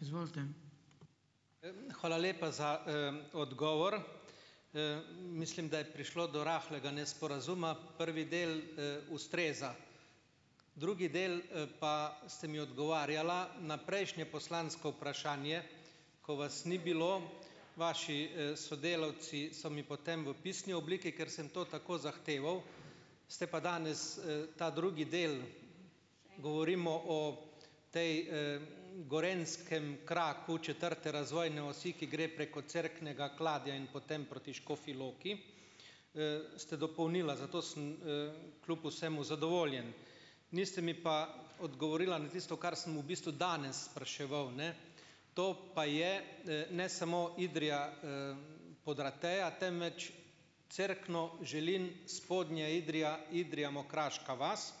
Izvolite. Hvala lepa za, odgovor. mislim, da je prišlo do rahlega nesporazuma. Prvi del, ustreza. Drugi del, pa ste mi odgovarjala na prejšnje poslansko vprašanje, ko vas ni bilo , vaši, sodelavci so mi potem v pisni obliki, ker sem to tako zahteval, ste pa danes, ta drugi del, govorimo o potem, gorenjskem kraku četrte razvojne osi, ki gre preko Cerknega, Kladja in potem proti Škofji Loki, ste dopolnila, zato sem, kljub vsemu zadovoljen. Niste mi pa odgovorila na tisto, kar sem v bistvu danes spraševal, ne. To pa je, ne samo Idrija, Podrateja, temveč Cerkno-Želin- Spodnja Idrija-Idrija-Mokraška vas.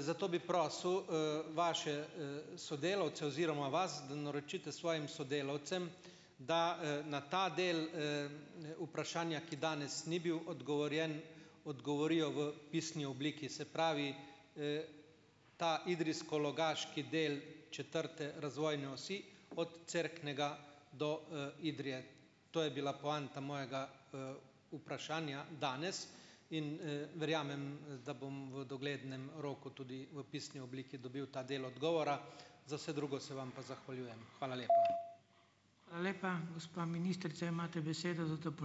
zato bi prosil, vaše, sodelavce oziroma vas, da naročite svojim sodelavcem, da, na ta del, vprašanja, ki danes ni bil odgovorjen, odgovorijo v pisni obliki. Se pravi, ta idrijsko-logaški del četrte razvojne osi, od Cerknega do, Idrije. To je bila poanta mojega, vprašanja danes in, verjamem, da bom v doglednem roku tudi v pisni obliki dobil ta del odgovora. Za vse drugo se vam pa zahvaljujem. Hvala lepa. Hvala lepa. Gospa ministrica, imate besedo za ...